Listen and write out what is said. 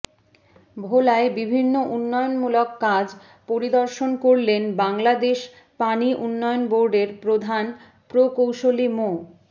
ভোলায় বিভিন্ন উন্নয়নমূলক কাজ পরিদর্শন করলেন বাংলাদেশ পানি উন্নয়ন বোর্ডের প্রধান প্রকৌশলী মো